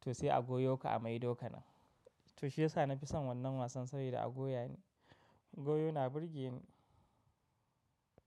to sai a goyo ka a maidoka nan. To shi yasa na fi son wannan wasan sabida a goya ni, goyo na burge ni.